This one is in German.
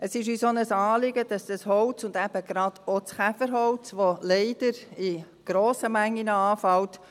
Es ist uns auch ein Anliegen, dass dieses Holz gebraucht und eingesetzt wird – eben gerade auch das Käferholz, das leider in grossen Mengen anfällt.